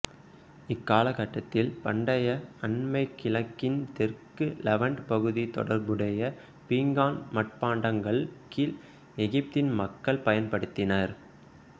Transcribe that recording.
இக்கால கட்டத்தில் பண்டைய அண்மை கிழக்கின் தெற்கு லெவண்ட் பகுதி தொடர்புடைய பீங்கான் மட்பாண்டங்கள் கீழ் எகிப்தின் மக்கள் பயன்படுத்தினர்